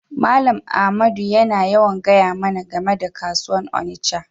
Mallam Ahmadu yana yawan gaya mana game da kasuwan Onitsha.